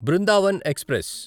Brindavan express